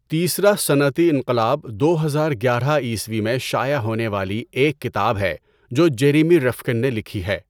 تیسرا صنعتی انقلاب دو ہزار گیارہ عیسوی میں شائع ہونے والی ایک کتاب ہے جو جیریمی رفکن نے لکھی ہے۔